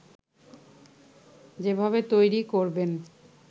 যেভাবে তৈরি করবেন